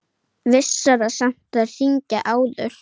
Vissara samt að hringja áður.